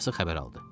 Anası xəbər aldı.